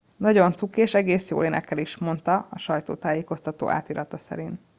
"""nagyon cuki és egész jól énekel is" mondta a sajtótájékoztató átirata szerint.